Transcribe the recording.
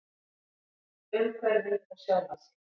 Umhverfið og sjálfa sig.